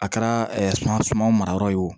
A kɛra suma suma mara yɔrɔ ye wo